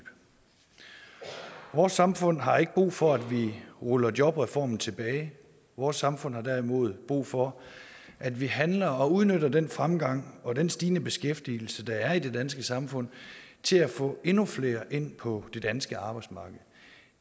vores samfund har ikke brug for at vi ruller jobreformen tilbage vores samfund har derimod brug for at vi handler og udnytter den fremgang og den stigende beskæftigelse der er i det danske samfund til at få endnu flere ind på det danske arbejdsmarked